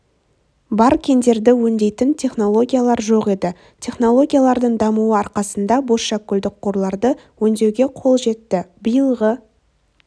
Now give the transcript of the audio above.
бар кендерді өңдейтін технологиялар жоқ еді технологиялардың дамуы арқасында бозшакөлдік қорларды өңдеуге қол жетті биылғы